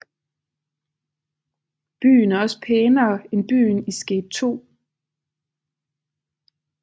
Byen er også pænere end byen i Skate 2